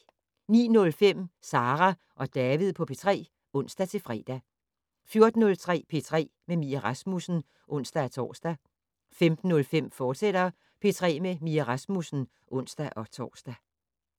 09:05: Sara og David på P3 (ons-fre) 14:03: P3 med Mie Rasmussen (ons-tor) 15:05: P3 med Mie Rasmussen, fortsat (ons-tor)